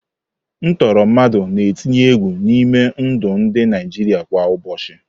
Ntọọrọ mmadụ na-etinye egwu n'ime ndụ ndị Naijiria kwa ụbọchị.